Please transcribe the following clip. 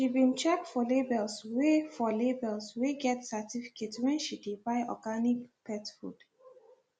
she been check for labels wey for labels wey get certificate when she dey buy organic pet food